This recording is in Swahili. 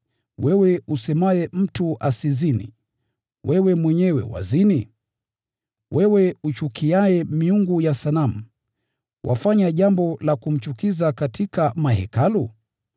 Wewe usemaye mtu asizini, wewe mwenyewe wazini? Wewe uchukiaye miungu ya sanamu, wafanya jambo la kumchukiza katika mahekalu?